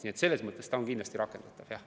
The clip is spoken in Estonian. Nii et selles mõttes see on kindlasti rakendatav.